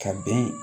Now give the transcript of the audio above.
Ka bɛn